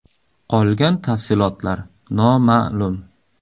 Qolgan tafsilotlar noma’lum.